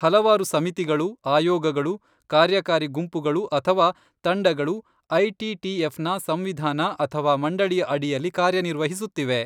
ಹಲವಾರು ಸಮಿತಿಗಳು, ಆಯೋಗಗಳು, ಕಾರ್ಯಕಾರಿ ಗುಂಪುಗಳು ಅಥವಾ ತಂಡಗಳು ಐಟಿಟಿಎಫ್ನ ಸಂವಿಧಾನ ಅಥವಾ ಮಂಡಳಿಯ ಅಡಿಯಲ್ಲಿ ಕಾರ್ಯನಿರ್ವಹಿಸುತ್ತಿವೆ.